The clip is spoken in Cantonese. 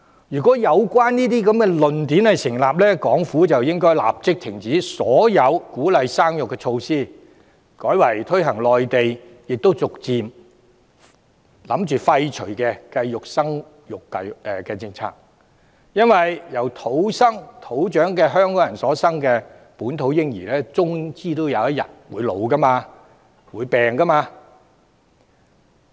如果有關言論成立，港府便應立即停止所有鼓勵生育的措施，改為推行內地亦已逐漸打算廢除的計劃生育政策，因為由土生土長香港人所生育的本土嬰兒終有一天也會年老和生病。